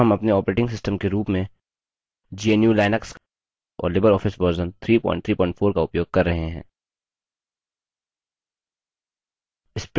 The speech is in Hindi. यहाँ हम अपने operating system के रूप में gnu/लिनक्स और libreoffice version 334 का उपयोग कर रहे हैं